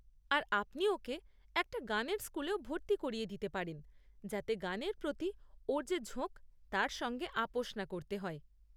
আর আপনি ওকে একটা গানের স্কুলেও ভর্তি করিয়ে দিতে পারেন যাতে গানের প্রতি ওর যে ঝোঁক তার সঙ্গে আপোস না করতে হয়।